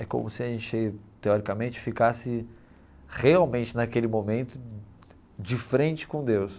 É como se a gente, teoricamente, ficasse realmente naquele momento de frente com Deus.